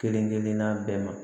Kelen kelenna bɛɛ ma